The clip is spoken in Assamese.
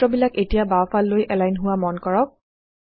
সূত্ৰবিলাক এতিয়া বাওঁফাললৈ এলাইন হোৱা মন কৰক